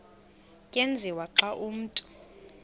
tyenziswa xa umntu